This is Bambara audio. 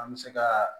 An bɛ se ka